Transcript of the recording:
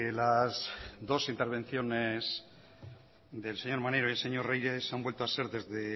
las dos intervenciones del señor maneiro y del señor reyes han vuelto a ser desde